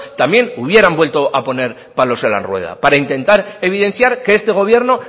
también hubieran vuelto a poner palos en la rueda para intentar evidenciar que este gobierno